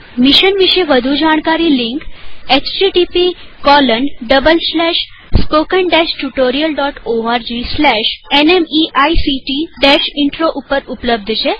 mission વિષે વધુ જાણકારી લિંક httpspoken tutorialorgNMEICT Intro ઉપર ઉપલબ્ધ છે